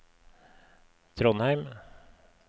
Trondheim